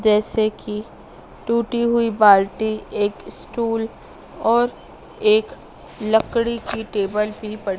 जैसे की टूटी हुई बाल्टी एक स्टूल और एक लकड़ी की टेबल भी पड़ी--